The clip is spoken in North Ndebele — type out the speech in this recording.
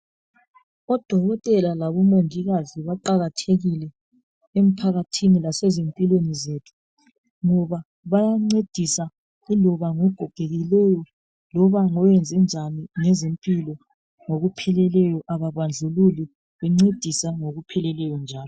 Odokotela labomongikazi baqakathekile emphakathini lasezimpilweni zethu ngoba bayancedisa iloba ngogogekileyo loba ngowenzenjani ngezempilakahle ngokupheleleyo ababandlululi.